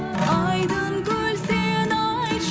айдын көл сен айтшы